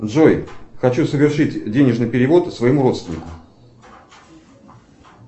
джой хочу совершить денежный перевод своему родственнику